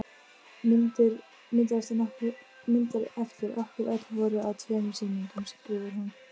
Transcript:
Myndir eftir okkur öll voru á tveimur sýningum skrifar hún.